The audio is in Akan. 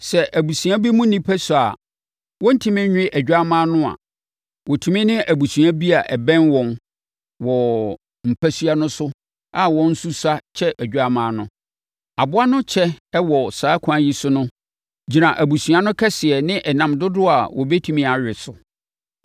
Sɛ abusua bi mu nnipa sua a wɔrentumi nwe odwammaa no a, wɔtumi ne abusua bi a ɛbɛn wɔn wɔ mpasua no so a wɔn nso sua kyɛ odwammaa no. Aboa no kyɛ wɔ saa ɛkwan no so no gyina abusua no kɛseɛ ne ɛnam dodoɔ a wɔbɛtumi awe so.